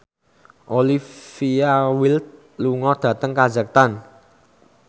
Olivia Wilde lunga dhateng kazakhstan